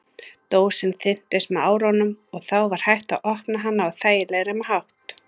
Dósin þynntist með árunum og þá var hægt að opna hana á þægilegri hátt.